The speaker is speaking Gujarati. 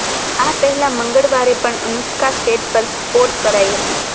આ પહેલા મંગળવારે પણ અનુષ્કા સેટ પર સ્પોટ કરાઈ હતી